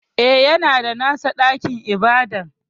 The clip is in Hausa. E, yana da nasa ɗakin ibada.